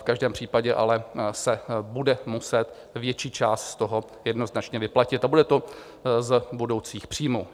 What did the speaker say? V každém případě ale se bude muset větší část z toho jednoznačně vyplatit a bude to z budoucích příjmů.